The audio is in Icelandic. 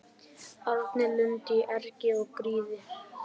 Árni Lund í erg og gríð